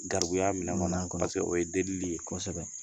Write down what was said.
Gakuya minɛn kɔnɔ o ye deli ye, kosɛbɛ